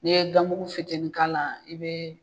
Ni ye ganmuku fitinin k'a la i be